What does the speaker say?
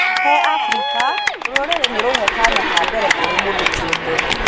He Afrika rũũrĩrĩ nĩ rũhe kanya ka mbere kũrĩ mũndũ kĩũmbe.